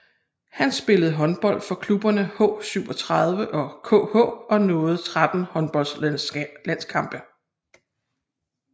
Han spillede håndbold for klubberne H37 og KH og nåede 13 håndboldslandskampe